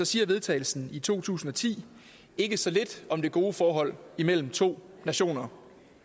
siger vedtagelsen i to tusind og ti ikke så lidt om det gode forhold imellem to nationer